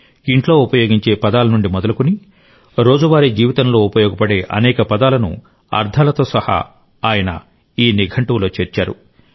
ఇంట్లో ఉపయోగించే పదాల నుండి మొదలుకొని రోజువారీ జీవితంలో ఉపయోగపడే అనేక పదాలను అర్థాలతో సహా ఆయన ఈ నిఘంటువులో చేర్చారు